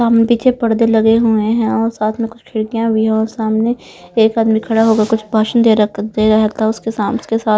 सामने पीछे पर्दे लगे हुए हैं और साथ में कुछ खिड़कियां भी है और सामने एक आदमी खड़ा होकर कुछ भाषण देर दे रहा था उसके साम उसके साथ--